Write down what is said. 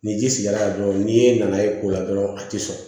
Ni ji sigira yen dɔrɔn n'i nana ye ko la dɔrɔn a tɛ sɔn